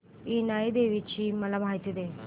इनाई देवीची मला माहिती दे